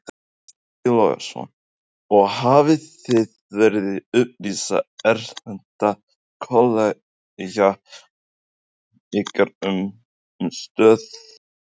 Breki Logason: Og hafið þið verið að upplýsa erlenda kollega ykkar um, um stöðu mála?